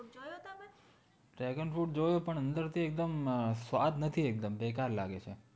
dragon fruit જોયું પણ અંદર થી એકદમ સ્વાદ નથી એકદમ બેકાર લાગેછે